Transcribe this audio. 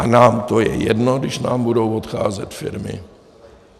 A nám to je jedno, když nám budou odcházet firmy.